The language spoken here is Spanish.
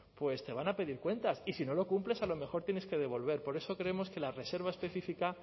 pues te van a pedir cuentas y si no lo cumples a lo mejor tienes que devolver por eso creemos que la reserva específica